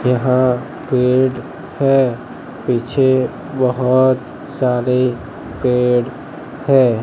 यहां पेड़ है पीछे बहुत सारे पेड़ है।